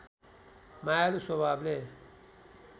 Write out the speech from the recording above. मायालु स्वभावले